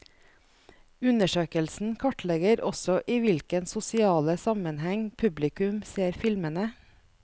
Undersøkelsen kartlegger også i hvilken sosiale sammenheng publikum ser filmene.